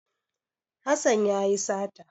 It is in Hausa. Hassan ya yi sata.